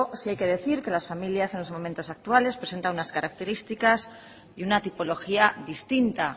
sí hay que decir que las familias en los momentos actuales presentan unas características y una tipología distinta